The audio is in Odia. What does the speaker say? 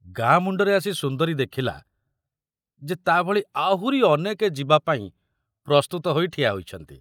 ଗାଁ ମୁଣ୍ଡରେ ଆସି ସୁନ୍ଦରୀ ଦେଖିଲା ଯେ ତା ଭଳି ଆହୁରି ଅନେକେ ଯିବାପାଇଁ ପ୍ରସ୍ତୁତ ହୋଇ ଠିଆ ହୋଇଛନ୍ତି।